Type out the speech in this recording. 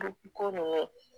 gurupuko nunnu